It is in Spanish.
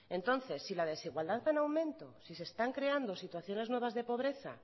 entonces si la desigualdad va en aumento si se están creando situaciones nuevas de pobreza